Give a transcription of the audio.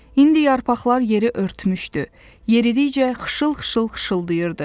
İndi yarpaqlar yeri örtmüşdü, yeridikcə xışıl-xışıl xışıldayırdı.